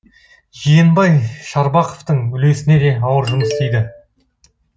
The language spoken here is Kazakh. жиенбай шарбақовтың үлесіне де ауыр жұмыс тиді